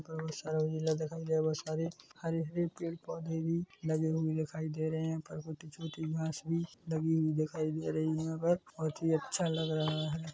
हरे-हरे पेड़ पोधे भी लगे हुए दे रहे है पर वो छोटी छोटी घास दबी हुई दिखाई दे रही है बहुत हि अच्छा लग रहा है।